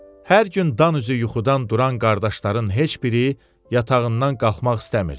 Hər gün dan üzü yuxudan duran qardaşların heç biri yatağından qalxmaq istəmirdi.